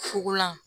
Fugulan